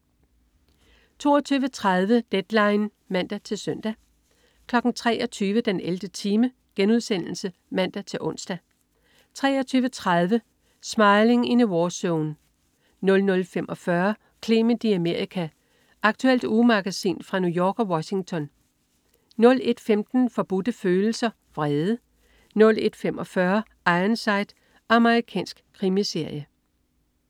22.30 Deadline (man-søn) 23.00 den 11. time* (man-ons) 23.30 Smiling in a warzone 00.45 Clement i Amerika. Aktuelt ugemagasin fra New York og Washington 01.15 Forbudte Følelser. Vrede 01.45 Ironside. Amerikansk krimiserie